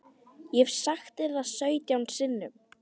Ég hef sagt þér það sautján sinnum.